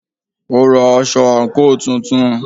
Ó ra aṣọ àǹkóò tuntun.